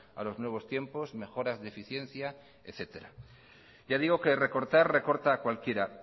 a los nuevos tiempos mejoras de eficiencia etcétera ya digo que recortar recorta cualquiera